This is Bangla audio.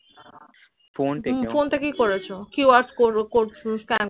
ফোন থেকে তুমি ফোন থেকে কড়েছো QRscod code scan